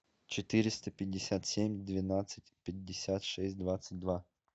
четыреста пятьдесят семь двенадцать пятьдесят шесть двадцать два